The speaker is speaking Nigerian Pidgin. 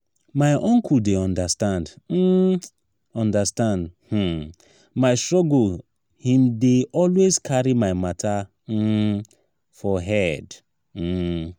my uncle dey understand um understand um my struggle him dey always carry my mata um for head. um